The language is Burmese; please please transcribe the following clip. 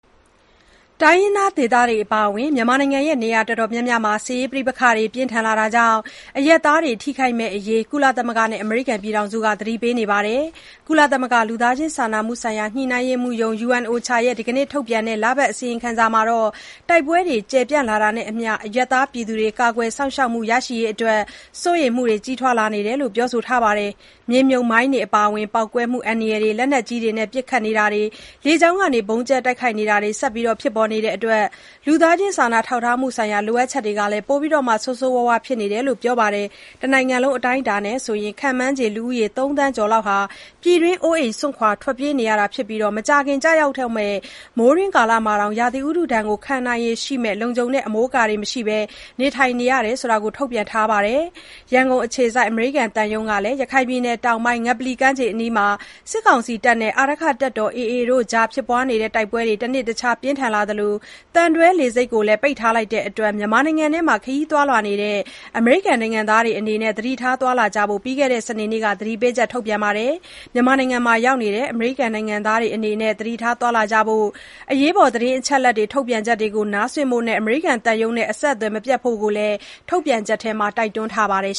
တိုင်းရင်းသားဒေသတွေ အပါအဝင် မြန်မာနိုင်ငံ နေရာတော်တော်များများမှာ တိုက်ပွဲတွေ ပြင်းထန်လာနေတာကြောင့် အရပ်သားတွေ ထိခိုက်မယ့်အရေး ကုလသမဂ္ဂနဲ့ အမေရိကန်တို့က သတိပေးနေပါတယ်။ ကုလသမဂ္ဂ လူသားချင်းစာနာမှုဆိုင်ရာ ညှိနှိုင်းရေးမှူးရုံး (UNOCHA) ရဲ့ ဒီကနေ့ ထုတ်ပြန်တဲ့ လပတ်အစီရင်ခံစာမှာတော့ တိုက်ပွဲတွေ ကျယ်ပြန့်လာတာနဲ့အမျှ အရပ်သားတွေ ကာကွယ်စောင့်ရှောက်မှု ရရှိရေးအတွက် စိုးရိမ်မှုတွေလည်း ကြီးထွားလာနေတယ်လို့ ပြောဆိုထားတာပါ။ မြေမြှုပ်မိုင်းအပါအဝင် ပေါက်ကွဲမှု အန္တရာယ်တွေ၊ လက်နက်ကြီးတွေနဲ့ ပစ်ခတ်တိုက်ခိုက်တာတွေ၊ လေကြောင်းကနေ ဗုံးကြဲတိုက်ခိုက်တာတွေဟာ ဆက်လက်ဖြစ်ပေါ်နေတဲ့အတွက် လူသားချင်းစာနာထောက်ထားမှုဆိုင်ရာ လိုအပ်ချက်တွေဟာ ပိုပြီးဆိုးဆိုးရွားရွားဖြစ်နေတယ်လို့လည်း ပြောပါတယ်။ တနိုင်ငံလုံး အတိုင်းအတာနဲ့ ဆိုရင် ခန့်မှန်းခြေ လူဦးရေ ၃ သန်းကျော်လောက်ဟာ ပြည်တွင်း အိုးအိမ် စွန့်ခွာ ထွက်ပြေးနေရတာဖြစ်ပြီး၊ မကြာခင်ကျရောက်တော့မယ့် မိုးတွင်းကာလမှာတောင် ရာသီဥတုဒဏ်ကို ခံနိုင်ရည်ရှိမယ့် လုံခြုံတဲ့ အမိုးအကာတွေ မရှိဘဲ နေထိုင်နေရတယ်လို့လည်း ထုတ်ပြန်ချက်မှာ ဖော်ပြထားတာပါ။ ရန်ကုန်အခြေစိုက် အမေရိကန်သံရုံးကလည်း ရခိုင်ပြည်နယ်တောင်ပိုင်း ငပလီကမ်းခြေအနီးမှာ စစ်ကောင်စီနဲ့ အာရက္ခတပ်တော် AA တို့အကြား ဖြစ်ပွားနေတဲ့ တိုက်ပွဲတွေ တနေ့တခြား ပြင်းထန်လာသလို သံတွဲလေဆိပ်ကိုလည်း ပိတ်ထားလိုက်ပြီ ဖြစ်တဲ့အတွက် မြန်မာနိုင်ငံအတွင်း ခရီးသွားနေတဲ့ အမေရိကန်နိုင်ငံသားတွေအနေနဲ့ သတိထားသွား လာကြဖို့ ပြီးခဲ့တဲ့ စနေနေ့မှာပဲ သတိပေးချက် ထုတ်ပြန်ခဲ့ပါတယ်။ မြန်မာနိုင်ငံရောက် အမေရိကန်နိုင်ငံသားတွေ အနေနဲ့ သတိထားသွားလာကြဖို့ သတင်းအချက်အလက်တွေကို နားစွင့်ဖို့၊ သံရုံးနဲ့ အဆက်အသွယ်မပြတ်ဖို့လည်း ထုတ်ပြန်ချက်မှာ တိုက်တွန်းထားပါတယ်